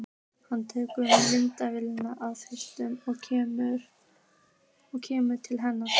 Hann tekur myndavélina af þrífætinum og kemur til hennar.